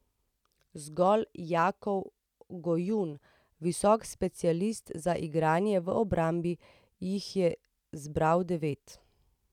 Zgolj Jakov Gojun, visoki specialist za igranje v obrambi, jih je zbral devet.